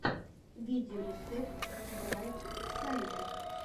видеорецепт брайт сайд